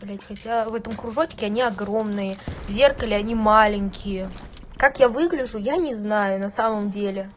блядь хотя в этом кружочке они огромные в зеркале они маленькие как я выгляжу я не знаю на самом деле